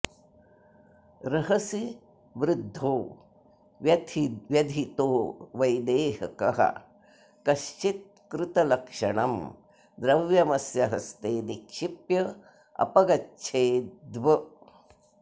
रहसि व्रुद्धो व्यधितो वैदेहकः कष्चित्क्रुतलक्षणम् द्रव्यमस्य हस्ते निक्षिप्यापगच्छेत्ब्